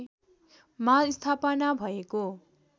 मा स्थापना भएको